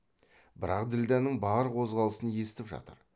бірақ ділдәнің бар қозғалысын естіп жатыр